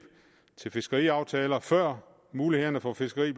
til fiskeriaftaler før mulighederne for fiskeri